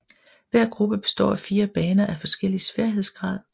Hver gruppe består af fire baner af forskellig sværhedsgrad